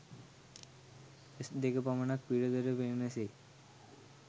ඇස් දෙක පමණක් පිටතට පෙනෙන සේ